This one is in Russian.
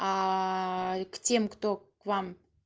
к тем кто к вам